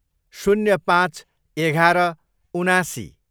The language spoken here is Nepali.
शून्य पाँच, एघार, उनासी